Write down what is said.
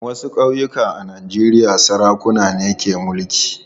Wasu ƙauyuka a Najeriya sarakuna ne ke mulki.